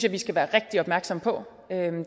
vi skal være rigtig opmærksom på